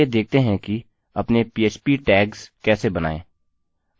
चलिए देखते हैं कि अपने php टैग्स कैसे बनायें